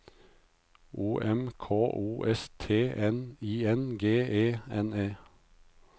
O M K O S T N I N G E N E